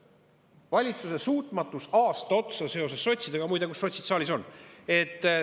valitsuse suutmatusele aasta otsa sotside tõttu – muide, kus sotsid saalis on?